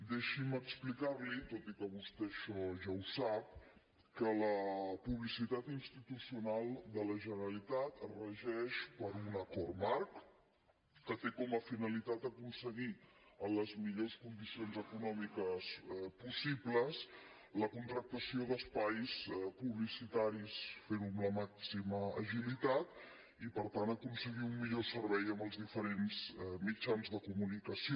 deixi’m explicarli tot i que vostè això ja ho sap que la publicitat institucional de la generalitat es regeix per un acord marc que té com a finalitat aconseguir en les millors condicions econòmiques possibles la contractació d’espais publicitaris ferho amb la màxima agilitat i per tant aconseguir un millor servei amb els diferents mitjans de comunicació